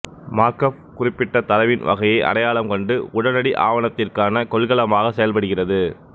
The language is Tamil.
மார்க்அப் குறிப்பிட்ட தரவின் வகையை அடையாளம் கண்டு உடனடி ஆவணத்திற்கான கொள்கலமாக செயல்படுகிறது